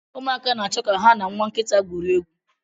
Ụmụaka na-achọ ka ha na nwa nkịta gwurie egwu.